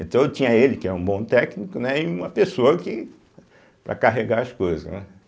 Então eu tinha ele, que é um bom técnico, né, e uma pessoa que para carregar as coisas, né.